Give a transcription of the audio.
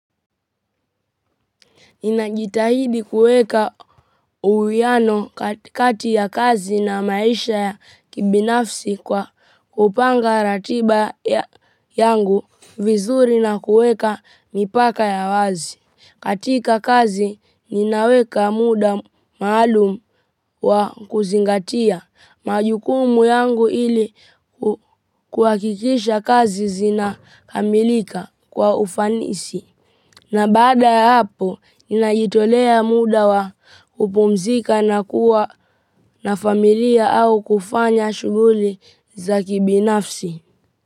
Ninajitahidi kueka uwiano kati ya kazi na maisha ya kibinafsi kwa kupanga ratiba yangu vizuri na kueka mipaka ya wazi. Katika kazi, ninaweka muda maalumu wa kuzingatia majukumu yangu ili kuhakikisha kazi zinakamilika kwa ufanisi. Na baada ya hapo, ninajitolea muda wa kupumzika na kuwa na familia au kufanya shughuli za kibinafsi.